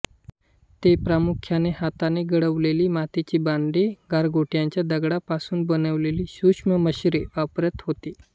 ते प्रामुख्याने हाताने घडवलेली मातीची भांडी गारगोटीच्या दगडांपासून बनविलेली सुक्षमस्त्रे वापरत होते